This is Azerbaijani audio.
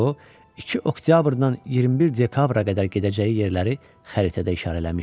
O iki oktyabrdan 21 dekabra qədər gedəcəyi yerləri xəritədə işarələmişdi.